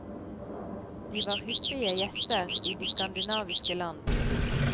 De var hyppige gjester i de skandinaviske land.